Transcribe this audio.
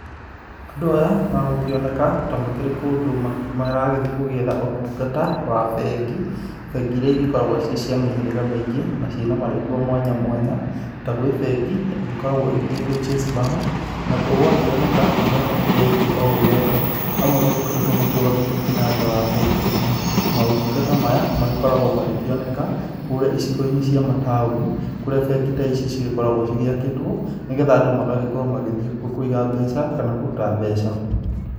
Andũ aya megũkĩoneka ta makĩrĩ kũndũ maragĩthiĩ gũgĩetha ũtungata wa bengi, bengi irĩa gĩkoragwo cirĩ cia mĩhĩraga mĩingĩ na marĩtwa mwanya mwanya, ta gwĩ bengi ikoragwo igĩgĩtwo chase bank na gũgakĩoneka andũ aya nĩ angĩ o ũũ wega, amwe magĩkoretwo makĩrũgamĩte ngina nja wa bengi ĩ no, maũtungata maya makoragwo makĩoneka kũrĩa icigo-inĩ cia mataũni kũria bengi ta ici cigĩkoragwo ciakĩtwo nĩgetha andũ magagĩkorwo magĩthiĩ kuo kũiga mbeca kana kũruta mbeca.